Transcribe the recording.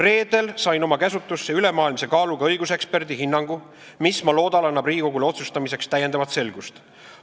Reedel sain oma käsutusse ülemaailmse kaaluga õiguseksperdi hinnangu, mis, ma loodan, annab Riigikogule otsustamiseks täiendavat selgust.